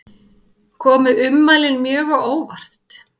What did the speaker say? Komu ummælin mjög á óvart